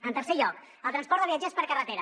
en tercer lloc el transport de viatgers per carretera